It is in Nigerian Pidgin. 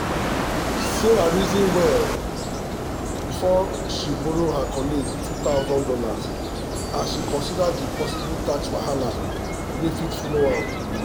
sarah reason wella before she borrow her colleague two thousand dollars as she consider the possible tax wahala wey fit follow am.